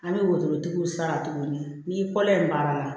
An bɛ wotorotigiw sara tuguni n'i kɔlɔn in baara la